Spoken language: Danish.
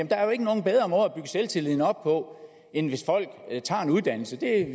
der er jo ikke nogen bedre selvtilliden op på end hvis folk tager en uddannelse det er